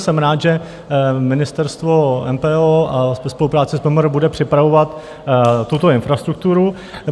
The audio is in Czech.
Jsem rád, že ministerstvo, MPO ve spolupráci s MMR, bude připravovat tuto infrastrukturu.